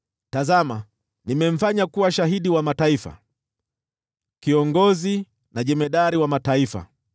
Tazama, nimemfanya kuwa shahidi wa mataifa, kiongozi na jemadari wa mataifa.